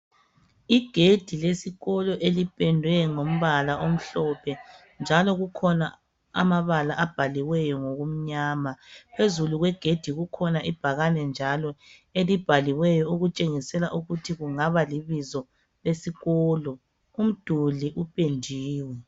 Igedi lesikolo elipendwe ngombala omlophe, njalo kukhona amabala abhaliweyo ngokumnyama. Phezulu kwegedi, kukhona ibhakane njalo. Elibhaliweyo, okutshengisela ukuthi kungaba libizo lesikolo .Umduli upendiwe.